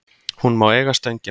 Hún má eiga Stöngina.